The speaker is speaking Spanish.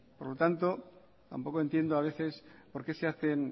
por lo tanto tampoco entiendo a veces por qué se hacen